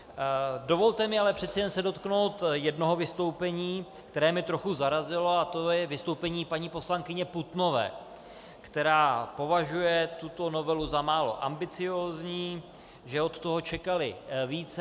Dovolte mi ale přece jen se dotknout jednoho vystoupení, které mě trochu zarazilo, a to je vystoupení paní poslankyně Putnové, která považuje tuto novelu za málo ambiciózní, že od toho čekali více.